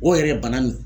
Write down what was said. O yɛrɛ ye bana min